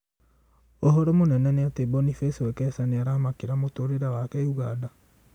ũhoro mũnene nĩ atĩ Boniface Wekesa nĩaramakĩra mũtũrĩre wake Uganda